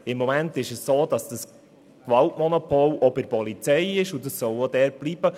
Im Moment liegt dieses Gewaltmonopol bei der Polizei, und es soll auch dort bleiben.